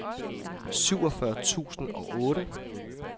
seksogfyrre tusind og otte